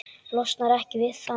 Losnar ekki við hann.